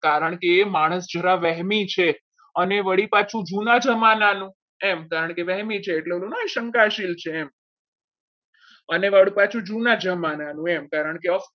કારણ કે માણસ જરા વહેલી છે અને વળી પાછું જૂના જમાનાનો એમ કારણ કે વૈમી છે થોડો ના હોય શંકાશીલ છે એમ અને વળી પાછું જુના જમાનામાં એમ કારણકે